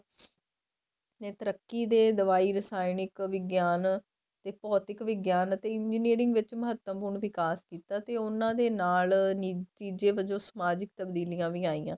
ਨੇ ਤਰੱਕੀ ਦੇ ਦਵਾਈ ਰ੍ਸਾਨਿਕ ਵਿਗਿਆਨ ਤੇ ਭੋਤਿਕ ਵਿਗਿਆਨ ਤੇ engineering ਵਿੱਚ ਮਹੱਤਵਪੂਰਨ ਵਿਕਾਸ ਕੀਤਾ ਤੇ ਉਹਨਾ ਦੇ ਨਾਲ ਨਤੀਜੇ ਵਜੋ ਸਮਾਜਿਕ ਤਬਦੀਲੀਆਂ ਵੀ ਆਈਆਂ